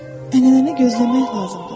Ənənəni gözləmək lazımdır.